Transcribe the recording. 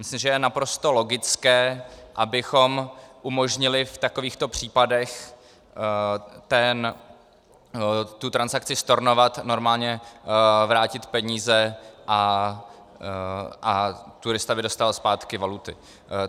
Myslím, že je naprosto logické, abychom umožnili v takovýchto případech tu transakci stornovat, normálně vrátit peníze, a turista by dostal zpátky valuty.